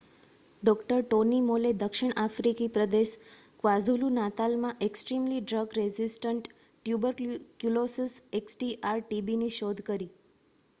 ડૉ. Tony Moll દક્ષિણ આફ્રિકી પ્રદેશ ક્વાઝુલુ-નાતાલમાં એક્સ્ટ્રીમલી ડ્રગ રેઝિસ્ટન્ટ ટ્યુબરક્યુલોસિસ xdr-tbની શોધ કરી